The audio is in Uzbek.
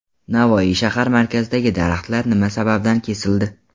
Navoiy shahar markazidagi daraxtlar nima sababdan kesildi?.